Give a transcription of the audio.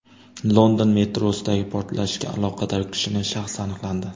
London metrosidagi portlashga aloqador kishining shaxsi aniqlandi.